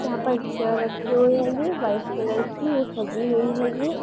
यहाँ पर चेयर रखी हुई हैंगी व्हाइट कलर की। वो सजी हुई हैंगी।